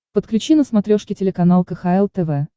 подключи на смотрешке телеканал кхл тв